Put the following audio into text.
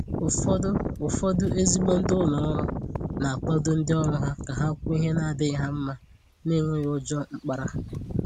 Ụ́fọ̀dụ̀ Ụ́fọ̀dụ̀ ezigbo ndị ụlọ òrụ́ na-akwàdo ndị òrụ́ ka ha kwùò ihe na-adịghị ha mma n’enwèghì ùjọ mkpàrà.